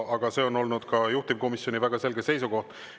Aga see on olnud ka juhtivkomisjoni väga selge seisukoht.